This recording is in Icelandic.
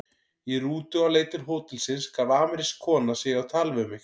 Í rútu á leið til hótelsins gaf amerísk kona sig á tal við mig.